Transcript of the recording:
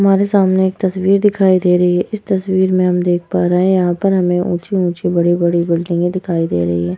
हमारे सामने एक तस्वीर दिखाई दे रही है। इस तस्वीर में हम देख पा रहे है यहाँ पर हमे ऊँची-ऊँची बड़ी-बड़ी बिल्डिंगे दिखाई दे रही हैं।